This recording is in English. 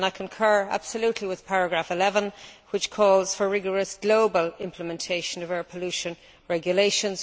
I concur absolutely with paragraph 11 which calls for rigorous global implementation of air pollution regulations.